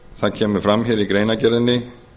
það koma fram í greinargerðinni